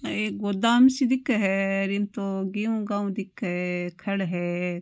एक गोदाम सी दिखे है इम तो गेहू गेहू दिखे खल है।